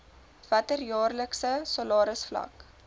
watter jaarlikse salarisvlak